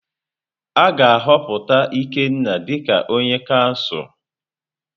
A ga-ahọpụta Ikenna dịka onye kansụl.